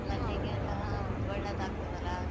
ಎಲ್ಲಾ ಹೌದು, ಒಳ್ಳೆದಾಗ್ತದಲ್ಲ?